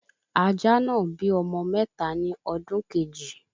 Ajá náà bí ọmọ mẹ́ta ni ọdún Kejì